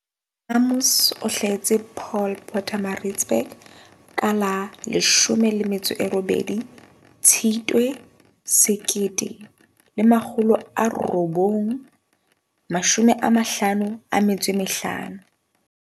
Amos o hlahetse Paul Pietersburg ka la 18 Tshitwe 1955.